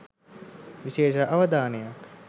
විශේෂ අවධානයක්